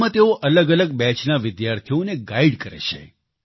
તેમાં તેઓ અલગઅલગ બેચના વિદ્યાર્થીઓને ગાઇડ કરે છે